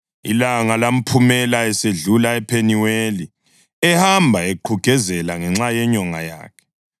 Ilanga lamphumela esedlula ePheniweli, ehamba eqhugezela ngenxa yenyonga yakhe.